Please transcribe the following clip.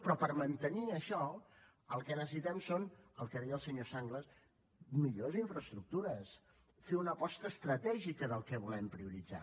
però per mantenir això el que necessitem són el que deia el senyor sanglas millors infraestructures fer una aposta estratègica del que volem prioritzar